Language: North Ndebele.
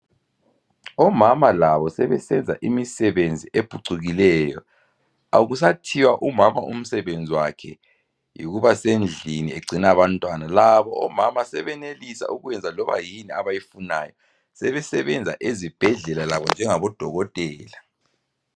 Omama labo sebesenza imisebenzi ephucukileyo. Akusathiwa umama umsebenzi wakhe yikuba sendlini egcina abantwana. Labo omama sebenelisa ukwenza loba yini abayifunayo .Sebesebenza ezibhedlela labo njengabodokotela.